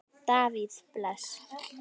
Davíð Bless.